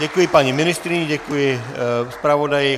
Děkuji paní ministryni, děkuji zpravodaji.